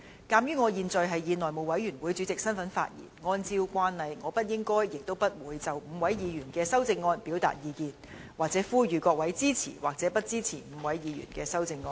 鑒於我現在是以內務委員會主席身份發言，按照慣例，我不應該亦不會就5位議員的修正案表達意見或呼籲議員支持或不支持這些修正案。